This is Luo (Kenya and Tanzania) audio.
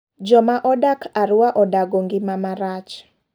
Joma odak Arua odago ng'ima marach.